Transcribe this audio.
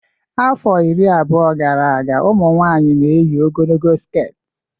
Afọ iri abụọ gara aga ụmụ nwanyị n'eyi ogologo sket